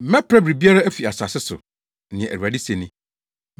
“Mɛpra biribiara afi asase so” nea Awurade se ni,